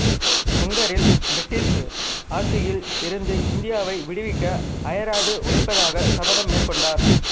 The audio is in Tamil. முங்கரில் பிரிட்டிசு ஆட்சியில் இருந்து இந்தியாவை விடுவிக்க அயராது உழைப்பதாக சபதம் மேற்கொண்டார்